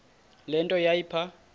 le nto yayipha